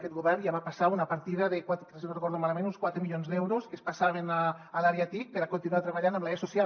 aquest govern ja va passar una partida si no ho recordo malament d’uns quatre milions d’euros que es passaven a l’àrea tic per a continuar treballant amb l’e social